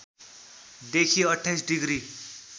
देखि २८ डिग्री